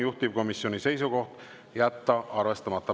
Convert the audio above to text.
Juhtivkomisjoni seisukoht on jätta arvestamata.